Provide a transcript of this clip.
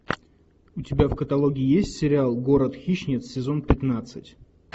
у тебя в каталоге есть сериал город хищниц сезон пятнадцать